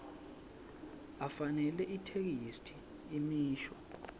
afanele itheksthi imisho